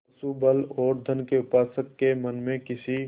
पशुबल और धन के उपासक के मन में किसी